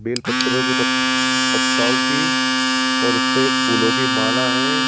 Bell पत्रों की पत पत्ताओं की और उसपे एक फूलों की माला है।